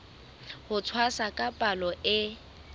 ho tshwasa ka palo e